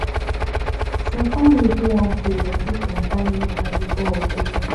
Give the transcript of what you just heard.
some family fit wan pray or do some kind rituals before operation